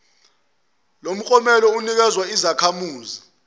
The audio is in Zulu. lomklomelo unikezwa izakhamuzi